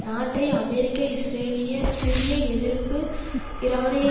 நாட்டை அமெரிக்க இஸ்ரேலிய சிரிய எதிர்ப்பு ஈரானிய